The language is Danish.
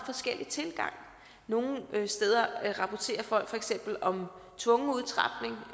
forskellig tilgang nogle steder rapporterer folk for eksempel om tvungen udtrapning